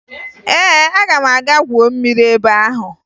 Ee, aga m aga gwuo mmiri ebe ahụ